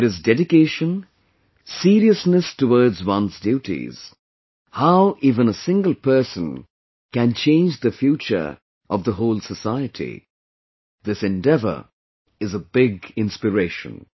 If there is dedication, seriousness towards one's duties, how even a single person can change the future of the whole society, this endeavor is a big inspiration